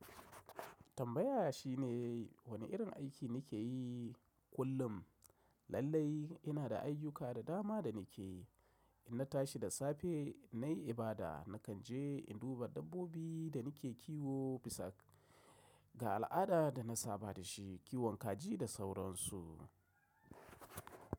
Tambaya shine wane irin aiki nike yi kullum? Lallai ina da ayyuka da dama da nike yi. Inna tashi da safe nayi ibada, nakan je in duba dabbobi da nike kiwo bisa ga al’ada da na saba da shi, kiwon kaji da sauransu.